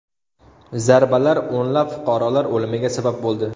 Zarbalar o‘nlab fuqarolar o‘limiga sabab bo‘ldi.